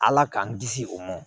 Ala k'an kisi o ma